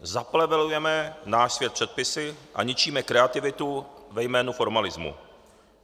Zaplevelujeme náš svět předpisy a ničíme kreativitu ve jménu formalismu.